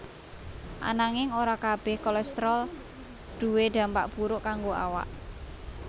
Ananging ora kabéh kolestrol duwé dampak buruk kanggo awak